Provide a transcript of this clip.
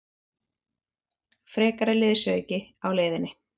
Frekari liðsauki á leiðinni?